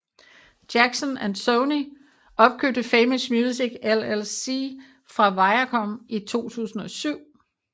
Jackson og Sony opkøbte Famous Music LLC fra Viacom i 2007